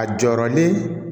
A jɔ ni